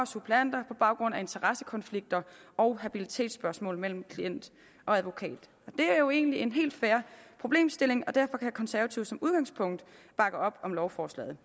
suppleanter på baggrund af interessekonflikter og habilitetsspørgsmål mellem klient og advokat det er jo egentlig en helt fair problemstilling og derfor kan konservative som udgangspunkt bakke op om lovforslaget